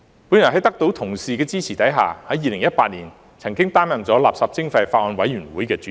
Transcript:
我在得到同事的支持下，在2018年曾擔任法案委員會的主席。